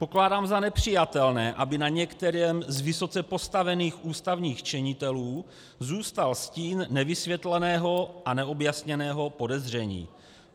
Pokládám za nepřijatelné, aby na některém z vysoce postavených ústavních činitelů zůstal stín nevysvětleného a neobjasněného podezření.